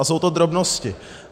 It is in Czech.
A jsou to drobnosti.